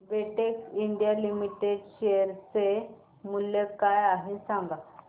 Betex India limited share चे मूल्य काय आहे हे सांगा